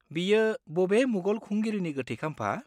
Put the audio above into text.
बेयो बबे मुगल खुंगिरिनि गोथै खाम्फा?